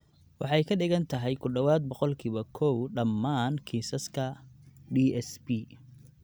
Waxay ka dhigan tahay ku dhawaad ​​boqolkiba koow dhammaan kiisaska DSP.